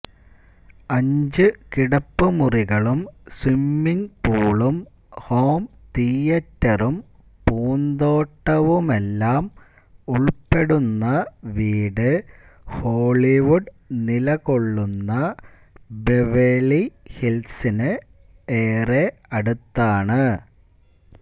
അഞ്ചു കിടപ്പുമുറികളും സ്വിമ്മിങ് പൂളും ഹോം തിയ്യറ്ററും പൂന്തോട്ടവുമെല്ലാം ഉള്പ്പെടുന്ന വീട് ഹോളിവുഡ് നിലകൊള്ളുന്ന ബെവേളി ഹില്സിന് ഏറെ അടുത്താണ്